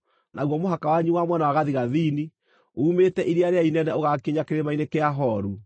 “ ‘Naguo mũhaka wanyu wa mwena wa gathigathini uumĩte Iria rĩrĩa Inene ũgaakinya Kĩrĩma-inĩ kĩa Horu,